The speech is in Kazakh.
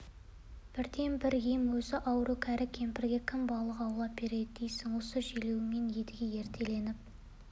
бірден бір ем өзі ауру кәрі кемпірге кім балық аулап береді дейсің осы желеумен едіге ертелетіп